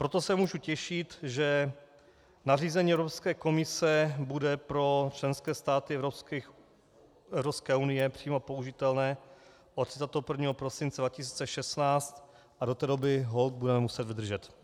Proto se mohu těšit, že nařízení Evropské komise bude pro členské státy Evropské unie přímo použitelné od 31. prosince 2016, a do té doby holt budeme muset vydržet.